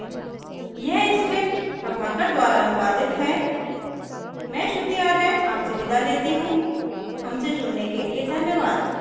यह script प्रभाकर द्वारा अनुवादित है मैं श्रुति आर्य आपसे विदा लेती हूँ हमसे जुड़ने के लिए धन्यवाद